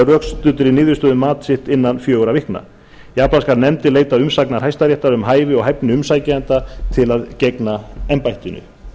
rökstuddri niðurstöðu um mat sinn innan fjögurra vikna jafnframt skal nefndin leita umsagnar hæstaréttar um hæfi og hæfni umsækjenda til að gegna embættinu